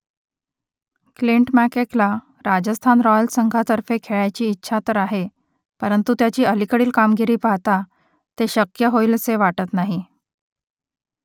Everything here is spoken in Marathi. क्लिंट मॅककेला राजस्थान रॉयल्स संघातर्फे खेळायची इच्छा तर आहे परंतु त्याची अलीकडील कामगिरी पाहता ते शक्य होईलसे वाटत नाही